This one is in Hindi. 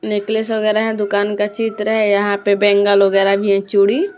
नेकलेस वगैरह है दुकान का चित्र है यहां पे बेंगल वगैरह भी है चूड़ी--